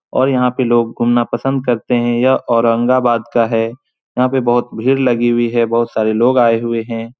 और यहां पे लोग घूमना पसंद करते है। यह औरंगाबाद का है। यहां पे बहुत भीड़ लगी हुई है। बहुत सारे लोग आए हुए है।